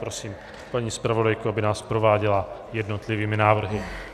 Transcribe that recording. Prosím paní zpravodajku, aby nás prováděla jednotlivými návrhy.